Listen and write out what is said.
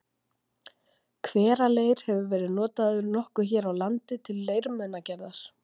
hveraleir hefur verið notaður nokkuð hér á landi til leirmunagerðar